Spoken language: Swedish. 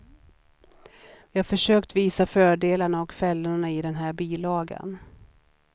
Vi har försökt visa fördelarna och fällorna i den här bilagan.